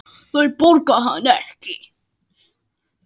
Þau borga hann ekki.